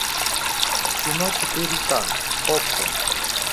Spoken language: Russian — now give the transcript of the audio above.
кино четыре к окко